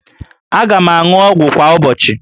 Aga m aṅụ ọgwụ kwa ụbọchị